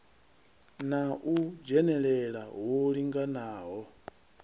na u dzhenelela hu linganaho